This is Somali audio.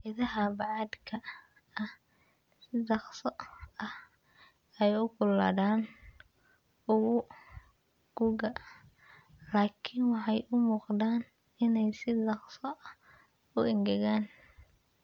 Ciidaha bacaadka ah si dhakhso ah ayay u kululaadaan guga laakiin waxay u muuqdaan inay si dhakhso ah u engegaan.